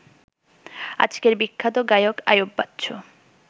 আজকের বিখ্যাত গায়ক আইয়ুব বাচ্চু